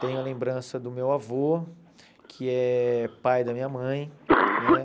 Tenho a lembrança do meu avô, que é pai da minha mãe, né?